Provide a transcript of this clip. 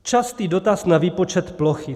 Častý dotaz na výpočet plochy.